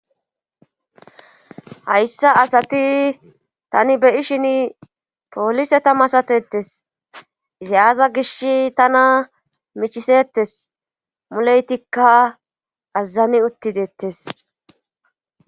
hayssa asati tani beyi'shin pooliseta masatetes izi aza gish tana michisettes muleytikka aazani uttidettes